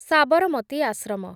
Sabarmati Ashram